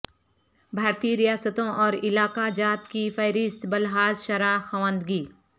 بھارتی ریاستوں اور علاقہ جات کی فہرست بلحاظ شرح خواندگی